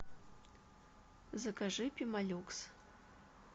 закажи пемолюкс